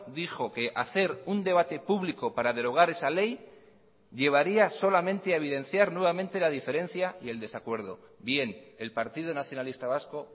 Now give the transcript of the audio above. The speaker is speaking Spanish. dijo que hacer un debate público para derogar esa ley llevaría solamente a evidenciar nuevamente la diferencia y el desacuerdo bien el partido nacionalista vasco